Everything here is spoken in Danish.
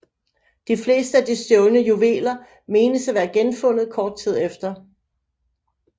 De fleste af de stjålne juveler menes at være genfundet kort tid efter